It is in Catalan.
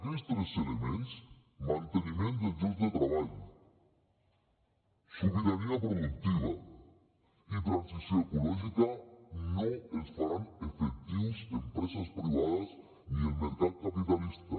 aquests tres elements manteniment dels llocs de treball sobirania productiva i transició ecològica no els faran efectius empreses privades ni el mercat capitalista